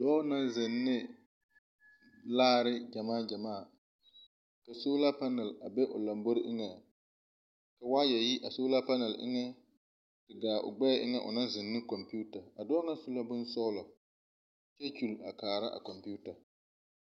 Dɔɔ naŋ ziŋ ne laare gyamaa gyamaa ka soolaapɛnɛl a be o lambori eŋeŋ ka waayɛ ye a soolaapɛnɛl eŋa te gaa gbɛɛ eŋa o naŋ ziŋ ne kompeuta ,a dɔɔ paŋ su la boŋ sɔglɔ kyɛ kyuli kaara a kompeuta.